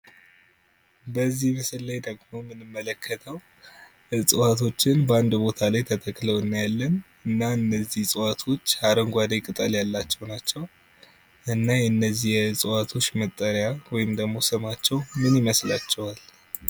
በዚህ ምስል ላይ የምንመለከተው ደግሞ እና እነዚህዎች አረንጓዴ ቅጠል ያላቸው ናቸው። እና የእጽዋቶች መጠሪያ ወይም ስማቸው ምን ይመስላችኋ?